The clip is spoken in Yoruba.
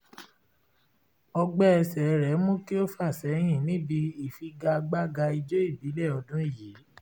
ọgbẹ́ ẹsẹ rẹ̀ mú kí ó fà sẹ́yìn níbi ìfigagbága ijó ìbílẹ̀ ọdún yìí